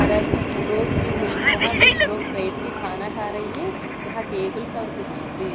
तरह की फोटोस भी है यहाँ कुछ लोग बैठ के खाना खा रही है यहाँ टेबल और खुर्ची भी है।